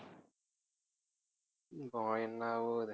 உம் போய் என்ன ஆகப்போகுது